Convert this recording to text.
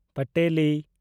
ᱯᱟᱴᱮᱴᱤ